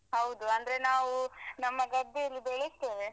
ಹೌದು ಅಂದ್ರೆ ನಾವೂ ನಮ್ಮ ಗದ್ದೆಯಲ್ಲಿ ಬೆಳಿಸ್ತೆವೆ.